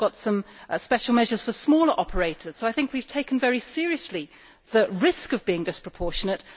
We have also got some special measures for smaller operators, so we have taken very seriously the risk of being disproportionate